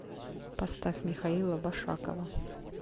поставь михаила башакова